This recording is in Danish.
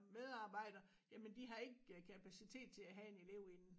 Medarbejdere jamen de har ikke kapacitet til at have en elev inde